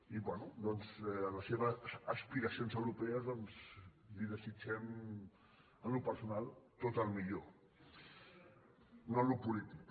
i bé en les seves aspiracions europees doncs li desitgem en el personal tot el millor no en el polític